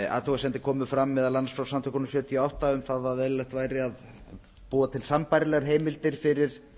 athugasemdir komu fram meðal annars frá samtökunum sjötíu og átta að um það að eðlilegt væri að búa til sambærilegar heimildir fyrir